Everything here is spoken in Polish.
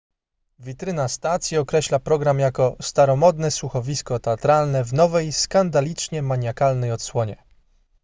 witryna stacji określa program jako staromodne słuchowisko teatralne w nowej skandalicznie maniakalnej odsłonie